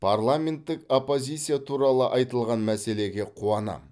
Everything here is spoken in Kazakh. парламенттік оппозиция туралы айтылған мәселеге қуанамын